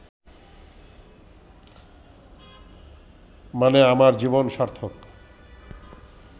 মানে আমার জীবন সার্থক